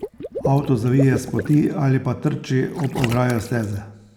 Avto zavije s poti ali pa trči ob ograjo steze.